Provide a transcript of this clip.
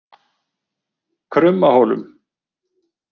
Krummahólum